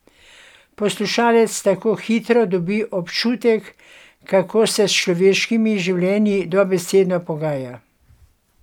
Poslušalec tako hitro dobi občutek, kako se s človeškimi življenji dobesedno pogaja.